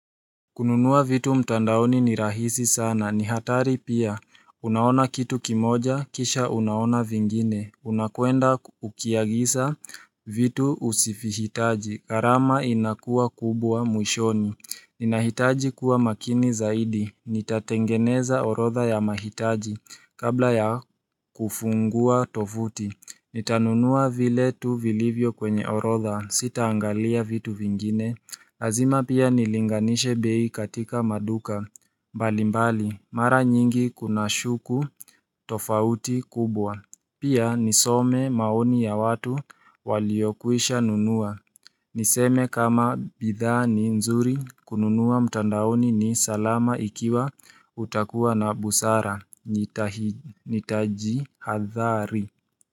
Kununua vitu mtandaoni ni rahisi sana, ni hatari pia, unaona kitu kimoja, kisha unaona vingine, unakwenda ukiagisa vitu usifihitaji, gharama inakua kubwa mwishoni Ninahitaji kuwa makini zaidi, nitatengeneza orodha ya mahitaji, kabla ya kufungua tofuti Nitanunua vile tu vilivyo kwenye orodha sitaangalia vitu vingine lazima pia nilinganishe bei katika maduka mbalimbali mara nyingi kunashuku tofauti kubwa Pia nisome maoni ya watu waliokuisha nunua Niseme kama bidha ni nzuri kununua mtandaoni ni salama ikiwa utakuwa na busara Nitaji hadhari.